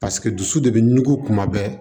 Paseke dusu de bɛ ɲugu kuma bɛɛ